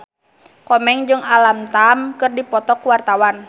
Komeng jeung Alam Tam keur dipoto ku wartawan